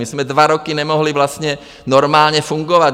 My jsme dva roky nemohli vlastně normálně fungovat.